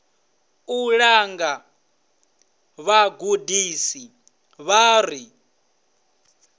u langa vhagudisi vhavho ri